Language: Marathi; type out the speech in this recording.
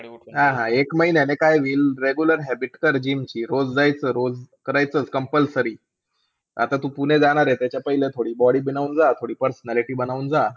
एक महिन्याने काय बी. Regular habit कर GYM ची. रोज जायचं. रोज करायचं compulsory. आता तू पुणे जाणार आहे त्याच्यापहिले थोडी body बनवून जा. थोडी personality बनवून जा.